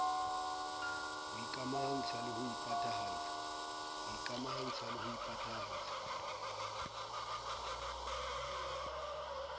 ho ikamahantsha le ho phathahatsa